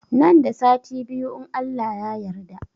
Nan da sati biyu in Allah ya yarda